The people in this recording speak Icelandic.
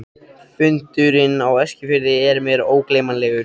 Fundurinn á Eskifirði er mér ógleymanlegur.